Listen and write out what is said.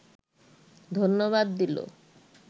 ধন্যবাদ দিল